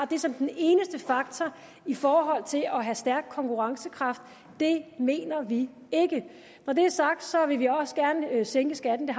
det som den eneste faktor i forhold til at have stærk konkurrencekraft det mener vi ikke når det er sagt så vil vi også gerne sænke skatten